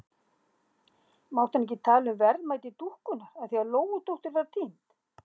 Mátti hann ekki tala um verðmæti dúkkunnar af því að Lóudóttir var týnd?